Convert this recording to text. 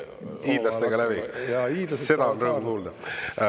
… hiidlastega läbi, seda on rõõm kuulda.